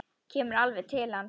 Kemur alveg til hans.